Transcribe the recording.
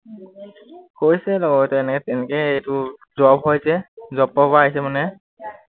কৈছে লগৰটোৱে এনেকে তেনেকে এইটো job হয় যে, job ৰ পৰা আহিছে মানে